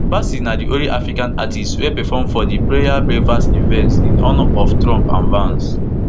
bassey na di only african artist wey perform for di prayer breakfast event in honour of trump and vance